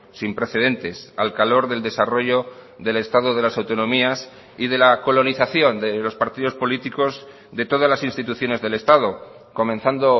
sin precedentes al calor del desarrollo del estado de las autonomías y de la colonización de los partidos políticos de todas las instituciones del estado comenzando